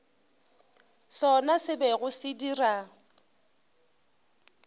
sona se bego se dira